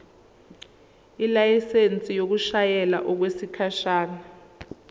ilayisensi yokushayela okwesikhashana